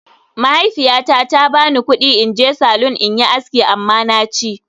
Mahaifiyata ta ba ni kudi in je salon in yi aski amma na ci